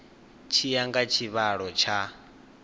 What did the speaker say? tshi ya nga tshivhalo tsha